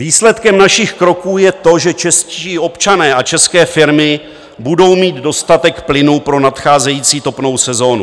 Výsledkem našich kroků je to, že čeští občané a české firmy budou mít dostatek plynu pro nadcházející topnou sezónu.